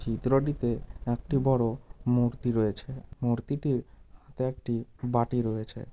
চিত্রটিতে একটি বড় মূর্তি রয়েছে মূর্তিটির হাতে একটি বাটি রয়েছে ।